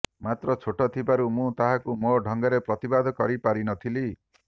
ମାତ୍ର ଛୋଟ ଥିବାରୁ ମୁଁ ତାହାକୁ ମୋ ଢଙ୍ଗରେ ପ୍ରତିବାଦ କରି ପାରିନଥିଲି